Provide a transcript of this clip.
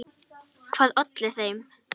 Hvað olli þeim?